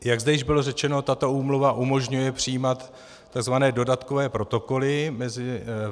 Jak zde již bylo řečeno, tato úmluva umožňuje přijímat tzv. dodatkové protokoly.